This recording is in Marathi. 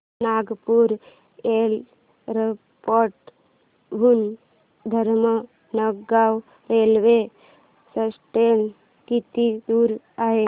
नागपूर एअरपोर्ट हून धामणगाव रेल्वे स्टेशन किती दूर आहे